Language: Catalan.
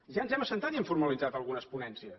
ja ens hem assegut i hem formalitzat algunes ponències